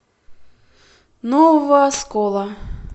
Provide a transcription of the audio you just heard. нового оскола